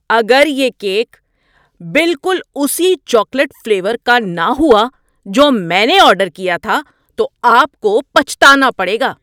اگر یہ کیک بالکل اسی چاکلیٹ فلیور کا نہ ہوا جو میں نے آرڈر کیا تھا تو آپ کو پچھتانا پڑے گا!